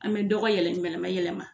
An bɛ dɔgɔ yɛlɛ yɛlɛmayɛlɛma